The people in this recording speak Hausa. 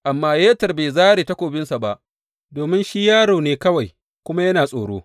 Amma Yeter bai zāre takobinsa ba, domin shi yaro ne kawai kuma yana tsoro.